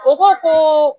O ko ko